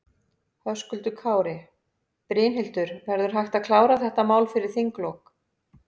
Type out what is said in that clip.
Höskuldur Kári: Brynhildur, verður hægt að klára þetta mál fyrir þinglok?